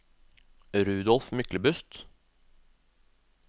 Rudolf Myklebust